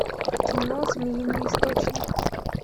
кино змеиный источник